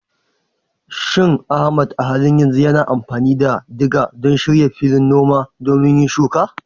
Shin Ahmad a halin yanzu yana amfani da diga don shirya filin noma domin yin shuka?